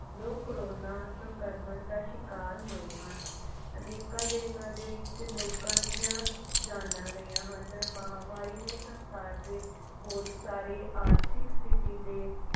ਲੋਕ corona ਸੰਕਰਮਣ ਦਾ ਸ਼ਿਕਾਰ ਹੋਏ ਹਨ ਅਨੇਕਾਂ ਦੇਸ਼ਾਂ ਦੇ ਵਿਚ ਲੋਕਾਂ ਦੀਆਂ ਜਾਨਾ ਗਈਆਂ ਹਨ ਮਹਾਮਾਰੀ ਨੇ ਸੰਸਾਰ ਦੇ ਬਹੁਤ ਸਾਰੇ ਆਰਥਿਕ ਸਤਿਥੀ ਤੇ।